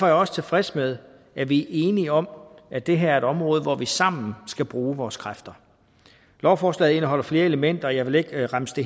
jeg også tilfreds med at vi er enige om at det her område hvor vi sammen skal bruge vores kræfter lovforslaget indeholder flere elementer og jeg vil ikke remse